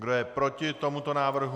Kdo je proti tomuto návrhu?